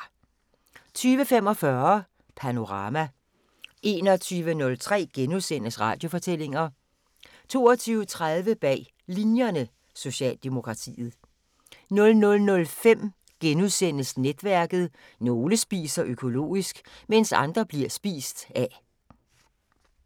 20:45: Panorama 21:03: Radiofortællinger * 22:30: Bag Linjerne – Socialdemokratiet 00:05: Netværket: Nogle spiser økologisk, mens andre bliver spist af *